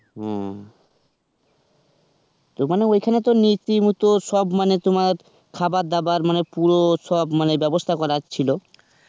হুম. তো মানে ওখানে তো নীতি তো সব মানে তোমার খাবার দাবার মানে পুরো সব মানে ব্যবস্থা করা ছিল?